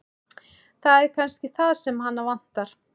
Það er kannski það sem hana vantar.